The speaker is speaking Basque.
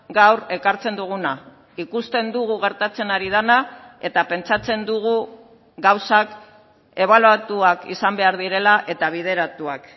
gaur ekartzen duguna ikusten dugu gertatzen ari dena eta pentsatzen dugu gauzak ebaluatuak izan behar direla eta bideratuak